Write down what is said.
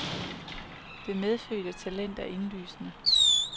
Det medfødte talent er indlysende.